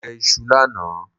Mo jẹ iṣu lánàá